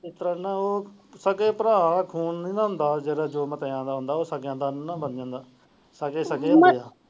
ਇਸ ਤਰਾਂ ਨਾਲ ਉਹ ਸਾਕੇ ਭਰਾ ਖੂਨ ਨਹੀਂ ਹੁੰਦਾ ਨਾ ਜਿਹੜਾ ਜੋ ਦਾ ਹੁੰਦਾ ਹੈ ਉਹ ਸਕਿਆ ਦਾ ਨਹੀਂ ਬਣ ਜਾਂਦਾ।